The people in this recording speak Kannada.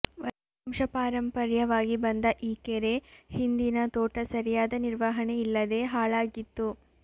ವಂಶಪಾರಂಪರ್ಯವಾಗಿ ಬಂದ ಈ ಕೆರೆ ಹಿಂದಿನ ತೋಟ ಸರಿಯಾದ ನಿರ್ವಹಣೆ ಇಲ್ಲದೆ ಹಾಳಾಗಿತ್ತು